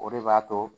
O de b'a to